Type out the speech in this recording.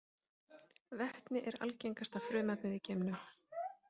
Vetni er algengasta frumefnið í geimnum.